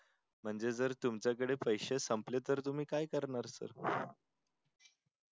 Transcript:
म्हणजे जर तुमच्या कडे पैशे संपले तर तुम्ही काय करणार पुढे